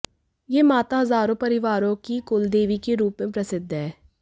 यह माता हजारों परिवारों की कुलदेवी के रूप में प्रसिद्ध है